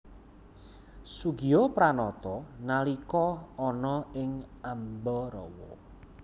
Soegijapranata nalika ana ing Ambarawa